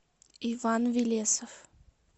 иван велесов